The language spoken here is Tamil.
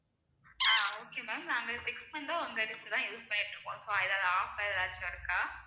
ஆஹ் okay ma'am நாங்க fix பண்றோம் உங்க dish தான் use பண்ணிட்டு இருக்கோம் so எதாவது offer ஏதாச்சும் இருக்கா